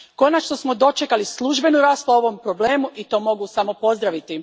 Konačno smo dočekali službenu raspravu o ovom problemu i to mogu samo pozdraviti.